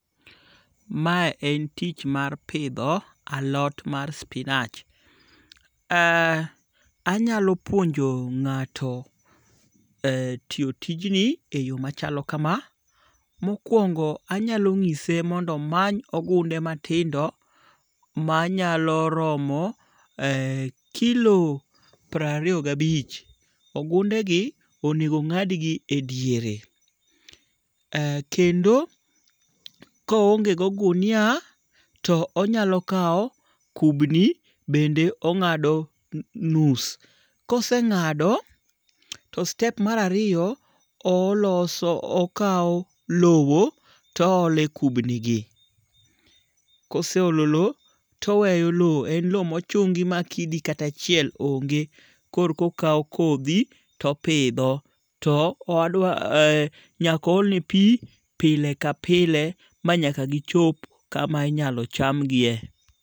Mae en tich mar pitho alot mar spinach, ee anyalo puonjo nga'to ee tiyo tijjni eyo machalo kama, mokuongo anyalo nyiseni mondo omany ogunde matindo, manyalo romo kilo prariyo gi abich, ogundegi onego onga'dgi e diere, kendo kohonge go gunia to onyalo kawo kubni bende onga'do nus, kosenga'do to step marariyo to oloso okawo lowo to ohole kubnigi, koseholo low toweyo low en low mochungi ma kidi kata achiel onge' korkokawa kothi topitho, to nyaka oholne pi pile ka pile ma nyaka gichop kama inyalo chamgie.